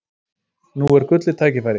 Nú er gullið tækifæri!